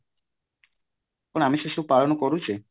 କଣ ଆମେ ସେ ସବୁ ପାଳନ କରୁଚେ